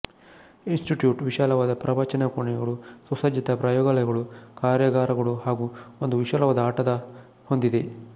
institute ವಿಶಾಲವಾದ ಪ್ರವಚನ ಕೋಣೆಗಳು ಸುಸಜ್ಜಿತ ಪ್ರಯೋಗಾಲಯಗಳು ಕಾರ್ಯಾಗಾರಗಳು ಹಾಗೂ ಒಂದು ವಿಶಾಲವಾದ ಆಟದ ಹೊಂದಿದೆ